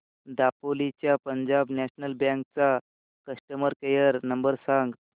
दापोली च्या Punjab national bank चा customer care number सांग